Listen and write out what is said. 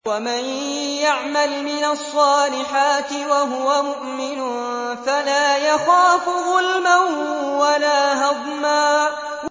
وَمَن يَعْمَلْ مِنَ الصَّالِحَاتِ وَهُوَ مُؤْمِنٌ فَلَا يَخَافُ ظُلْمًا وَلَا هَضْمًا